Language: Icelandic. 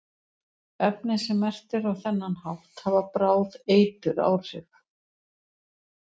Efni sem merkt eru á þennan hátt hafa bráð eituráhrif.